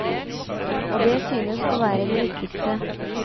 Og det synes å være det viktigste.